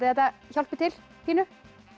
þetta hjálpi til pínu